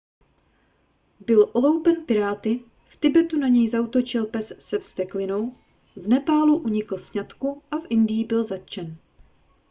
byl oloupen piráty v tibetu na něj zaútočil pes se vzteklinou v nepálu unikl sňatku a v indii byl zatčen